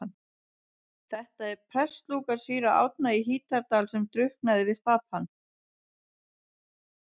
Þetta er prestslúka síra Árna í Hítardal sem drukknaði við Stapann.